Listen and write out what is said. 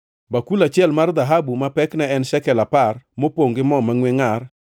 bakul achiel mar dhahabu ma pekne en shekel apar, mopongʼ gi mo mangʼwe ngʼar;